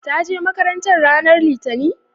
ta je makaranta ranar litani?